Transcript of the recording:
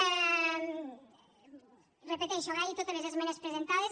ho repeteixo agrair totes les esmenes presentades